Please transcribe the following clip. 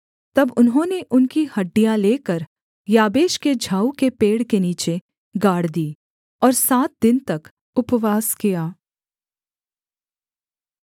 तब उन्होंने उनकी हड्डियाँ लेकर याबेश के झाऊ के पेड़ के नीचे गाड़ दीं और सात दिन तक उपवास किया